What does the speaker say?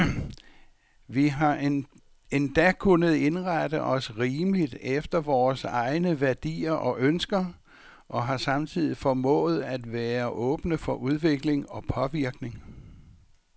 Vi har endda kunnet indrette os rimeligt efter vore egne værdier og ønsker, og har samtidig formået at være åbne for udvikling og påvirkning.